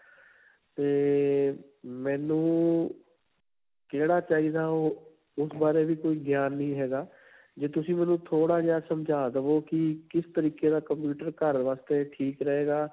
'ਤੇ ਮੈਨੂੰ ਕਿਹੜਾ ਚਾਹੀਦਾ, ਉਹ ਉਸ ਬਾਰੇ ਵੀ ਕੋਈ ਗਿਆਨ ਨਹੀਂ ਹੈਗਾ ਜੇ ਤੁਸੀ ਮੈਨੂੰ ਥੋੜਾ ਜਿਹਾ ਸਮਝਾ ਦਵੋ ਕਿ, ਕਿ ਤਰੀਕੇ ਦਾ computer ਘਰ ਵਾਸਤੇ ਠੀਕ ਰਹੇਗਾ.